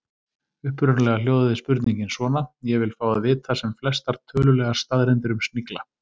Upprunalega hljóðaði spurningin svona: Ég vil fá að vita sem flestar tölulegar staðreyndir um snigla.